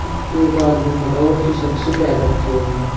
एक आदमी खड़ा हुआ टी शर्ट सी पहन रखी है उन्होंने--